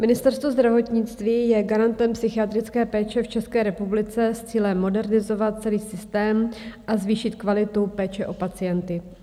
Ministerstvo zdravotnictví je garantem psychiatrické péče v České republice s cílem modernizovat celý systém a zvýšit kvalitu péče o pacienty.